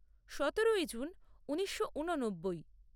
সতেরোই জুন ঊনিশো ঊননব্বই